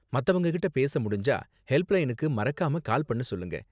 மத்தவங்ககிட்ட பேச முடிஞ்சா, ஹெல்ப்லைனுக்கு மறக்காம கால் பண்ண சொல்லுங்க.